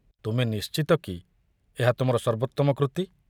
ତୁମେ ନିଶ୍ଚିତ କି ଏହା ତୁମର ସର୍ବୋତ୍ତମ କୃତି?